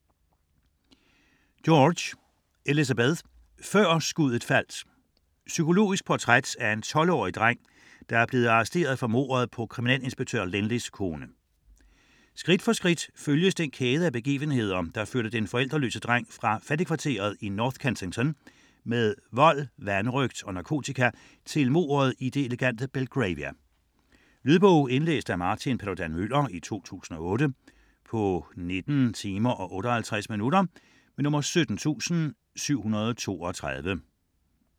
George, Elizabeth: Før skuddet faldt Psykologisk portræt af den 12-årige dreng, der er blevet arresteret for mordet på kriminalinspektør Lynley's kone. Skridt for skridt følges den kæde af begivenheder, som førte den forældreløse dreng fra fattigkvarteret i North Kensington med vold, vanrøgt og narko til mordet i det elegante Belgravia. Lydbog 17732 Indlæst af Martin Paludan-Müller, 2008. Spilletid: 19 timer, 58 minutter.